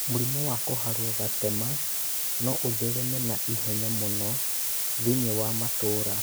Mũrimũ wa kũharwo gatema no ũthereme na ihenya mũno thĩinĩ wa matũra.